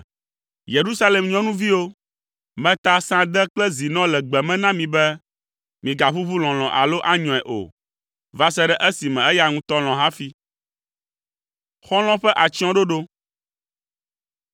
Yerusalem nyɔnuviwo, meta sãde kple zinɔ le gbe me na mi be, “Migaʋuʋu lɔlɔ̃ alo anyɔe o, va se ɖe esime eya ŋutɔ nalɔ̃ hafi.”